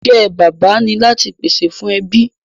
The father's job is to provide for the family